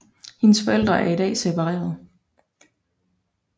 Hendes forældre er i dag separeret